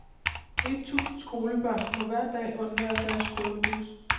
Et tusind skolebørn må hver dag undvære deres skolebus.